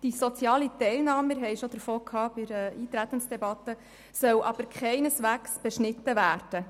Die soziale Teilnahme – wir haben bereits im Rahmen der Eintretensdebatte darüber gesprochen – soll jedoch keineswegs beschnitten werden.